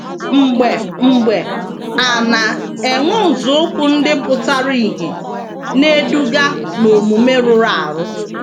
Mgbe mgbe, a na - enwe nzọụkwụ ndị pụtara ìhè na - eduga n’omume rụrụ arụ.